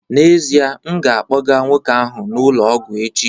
N'ezie, m ga-akpọga nwoke ahụ n'ụlọ ọgwụ echi